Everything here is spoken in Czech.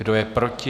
Kdo je proti?